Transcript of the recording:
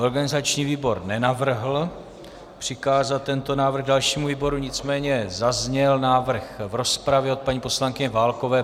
Organizační výbor nenavrhl přikázat tento návrh dalšímu výboru, nicméně zazněl návrh v rozpravě od paní poslankyně Válkové.